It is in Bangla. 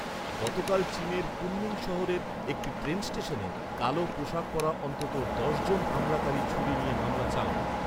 গতকাল চিনের কুনমিং শহরের একটি ট্রেন স্টেশনে, কালো পোশাক পরা অন্তত দশ জন হামলাকারী ছুরি নিয়ে হামলা চালায়।